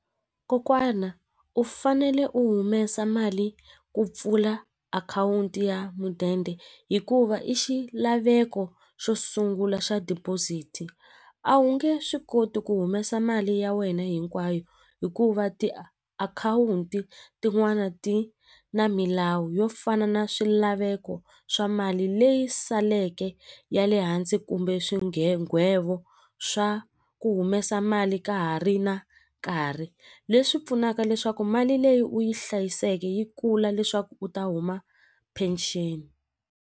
Kokwana u fanele u humesa mali ku pfula akhawunti ya mudende hikuva i xilaveko xo sungula xa deposit-i a wu nge swi koti ku humesa mali ya wena hinkwayo hikuva tiakhawunti tin'wani ti na milawu yo fana na swilaveko swa mali leyi saleke ya le hansi kumbe swa ku humesa mali ka ha ri na nkarhi leswi pfunaka leswaku mali leyi u yi hlayiseke yi kula leswaku u ta huma pension.